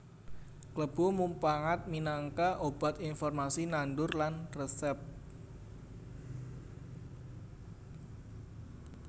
Klebu mupangat minangka obat informasi nandur lan resèp